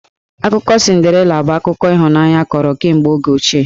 Akụkọ Cinderela bụ akụkọ ịhụnanya a kọrọ kemegbe oge ochie.